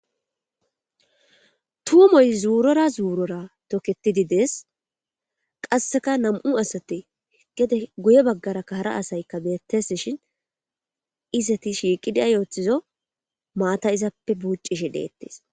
tumoy zuurora zuurora tokketidi dees qasseka nam7u asate gede guye baggara kahara asaykka beettes shin iseti shiiqida yooththizo maata izappe buuccishi deettis